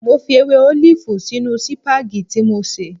Mo fi ewé ólìfù sínú sìpàgẹ́tì tí mo sè